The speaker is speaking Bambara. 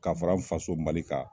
Kafara n faso mali kan